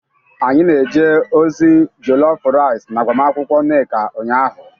anyi na-eje ozi jollof rice n'agbamakwụkwọ nneka ụnyahụ